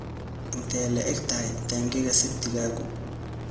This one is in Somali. Intee le'eg tahay taangiga septic-gaagu?